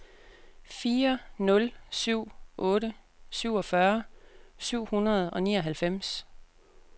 fire nul syv otte syvogfyrre syv hundrede og nioghalvfems